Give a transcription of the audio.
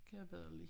Kan jeg bedre lide